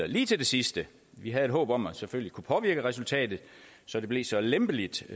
lige til det sidste vi havde et håb om at vi selvfølgelig kunne påvirke resultatet så det blev så lempeligt